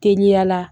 Teliya la